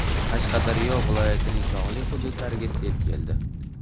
Qashqadaryo viloyatining tog‘li hududlariga sel keldi.